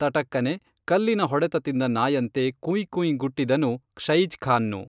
ತಟಕ್ಕನೆ ಕಲ್ಲಿನ ಹೊಡೆತ ತಿಂದ ನಾಯಂತೆ ಕುಯ್ ಕುಯ್ ಗುಟ್ಟಿದನು ಷಯಿಜ್ಖಾನ್ನು